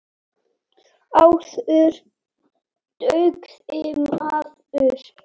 Áður dugði maður.